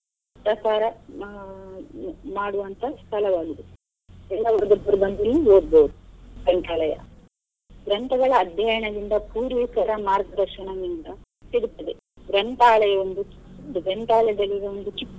ಪ್ರಸಾರ ಮಾ~ ಮಾಡುವಂತಹ ಸ್ಥಳವಾಗಿದೆ ಎಲ್ಲಾ ವರ್ಗದವರು ಬಂದು ಇಲ್ಲಿ ಓದ್ಬೋದು. ಗ್ರಂಥಾಲಯ ಗ್ರಂಥಗಳ ಅಧ್ಯಯನದಿಂದ ಕೂಡಿ ಮಾರ್ಗದರ್ಶನದಿಂದ ಸಿಗುತ್ತದೆ. ಗ್ರಂಥಾಲಯ ಒಂದು ಒಂದು ಚಿಕ್ಕ.